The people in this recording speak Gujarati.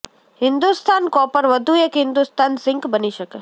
હિંદુસ્તાન કોપર વધુ એક હિંદુસ્તાન ઝિંક બની શકે